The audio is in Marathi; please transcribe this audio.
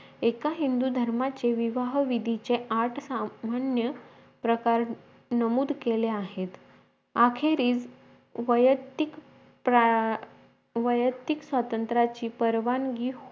एका हिंदू धर्माचे विवाह विधीचे आठ सामान्य प्रकार नमूद केलेत आहे आखेरीस वैयक्तिक प्रा वैयक्तिक स्वातंत्र्याची परवानगी